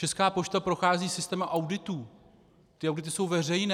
Česká pošta prochází systémem auditů, ty audity jsou veřejné.